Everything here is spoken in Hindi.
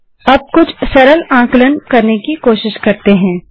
अब कुछ सरल गणना की कोशिश करते हैं